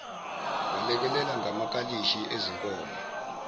balekelela ngamakalishi ezinkomo